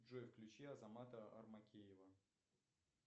джой включи азамата армакеева